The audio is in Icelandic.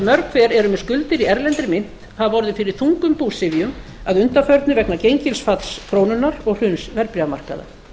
mörg hver eru með skuldir í erlendri mynt hafa orðið fyrir þungum búsifjum að undanförnu vegna gengisfalls krónunnar og hruns verðbréfamarkaða